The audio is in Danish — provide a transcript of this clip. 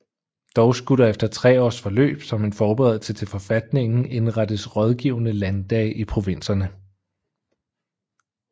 Dog skulle der efter 3 års forløb som en forberedelse til forfatningen indrettes rådgivende landdage i provinserne